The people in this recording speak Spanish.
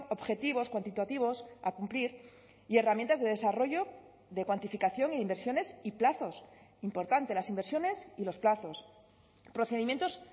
objetivos cuantitativos a cumplir y herramientas de desarrollo de cuantificación e inversiones y plazos importante las inversiones y los plazos procedimientos